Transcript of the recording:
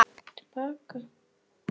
Evu, hvað hún dugleg og myndarleg.